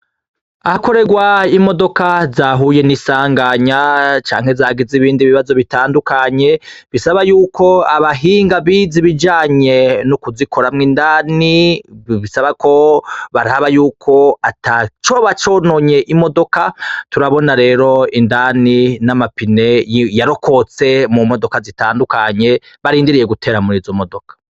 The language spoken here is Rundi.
Ahakorerwa imodoka zahuye n'isanganya canke zagize ibindi bibazo bitandukanye, bisaba y'uko abahinga bize ibijanye no kuzikoramwo indani, bisaba ko bara ba yuko atacoba cononye imodoka, turabona rero indani n'ama pine yarokotse mumodoka zitandukanye, barindiriye gutera muri izo modoka.